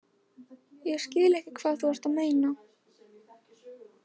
Ég skil ekki hvað þú ert að meina.